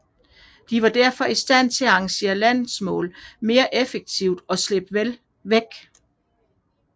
De var derfor i stand til at engagere landmål mere effektivt og slippe væk